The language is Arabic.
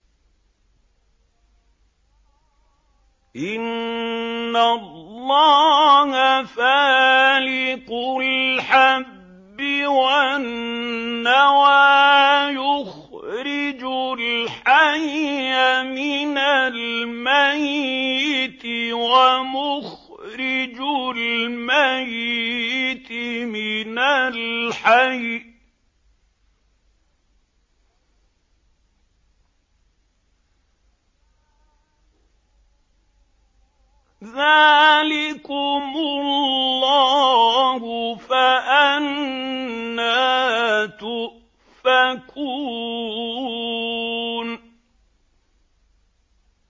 ۞ إِنَّ اللَّهَ فَالِقُ الْحَبِّ وَالنَّوَىٰ ۖ يُخْرِجُ الْحَيَّ مِنَ الْمَيِّتِ وَمُخْرِجُ الْمَيِّتِ مِنَ الْحَيِّ ۚ ذَٰلِكُمُ اللَّهُ ۖ فَأَنَّىٰ تُؤْفَكُونَ